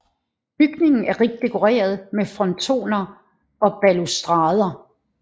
Bygningen er rigt dekoreret med frontoner og balustrader